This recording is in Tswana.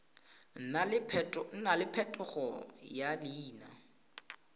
nna le phetogo ya leina